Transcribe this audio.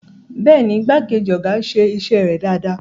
Bẹ́ẹ̀ni, igbákejì ọ̀gá ń ṣe iṣẹ́ rẹ̀ dáadáa.